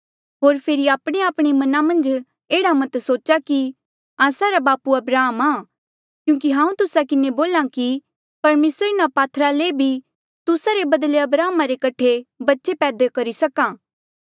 होर फेरी आपणेआपणे मना मन्झ एह्ड़ा मत सोचा कि आस्सा रा बापू अब्राहम आ क्यूंकि हांऊँ तुस्सा किन्हें बोल्हा कि परमेसर इन्हा पात्थरा ले भी तुस्सा रे बदले अब्राहम रे कठे बच्चे पैदा करी सक्हा